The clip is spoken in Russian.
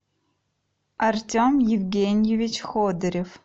артем евгеньевич ходырев